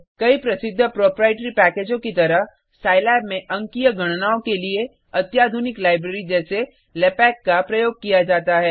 कई प्रसिद्ध प्रोप्राइटरी पैकेजों की तरह सिलाब में अंकीय गणनाओं के लिए अत्याधुनिक लाइब्रेरी जैसे लैपैक का प्रयोग किया जाता है